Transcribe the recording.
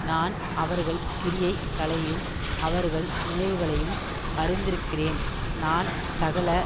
நான் அவர்கள் கிரியை களையும் அவர்கள் நினைவுகளையும் அறிந்திருக்கிறேன் நான் சகல